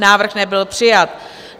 Návrh nebyl přijat.